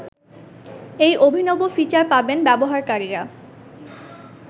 এই অভিনব ফিচার পাবেন ব্যবহারকারীরা